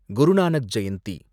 Guru Nanak Jayanthi